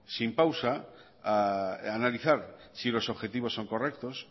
sin pausa a analizar si los objetivos son correctos